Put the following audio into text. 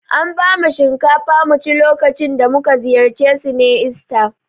An bamu shinkafa mu ci lokacin da mu ka ziyarce su ne ista.